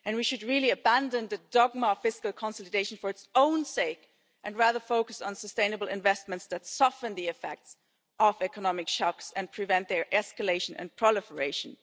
We should really abandon the dogma of fiscal consultation for its own sake and instead focus on sustainable investments that soften the effects of economic shocks and prevent their escalation and proliferation.